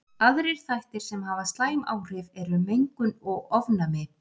Aðrir þættir sem hafa slæm áhrif eru mengun og ofnæmi.